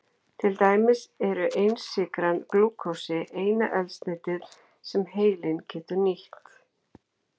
Til dæmis er einsykran glúkósi eina eldsneytið sem heilinn getur nýtt.